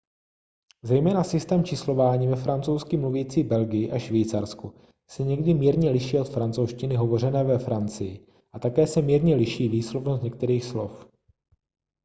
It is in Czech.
zejména systém číslování ve francouzsky mluvící belgii a švýcarsku se někdy mírně liší od francouzštiny hovořené ve francii a také se mírně liší výslovnost některých slov